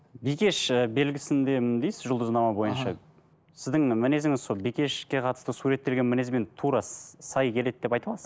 бикеш і белгісіндемін дейсіз жұлдызнама бойынша сіздің мінезіңіз сол бикешке қатысты суреттелген мінезбен тура сай келеді деп айта аласыз